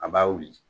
A b'a wuli